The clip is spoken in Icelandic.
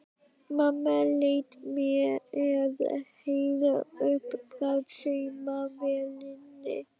Mamma leit með hægð upp frá saumavélinni.